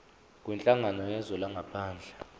kwinhlangano yezwe langaphandle